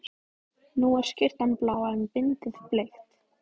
Nú er skyrtan blá en bindið bleikt.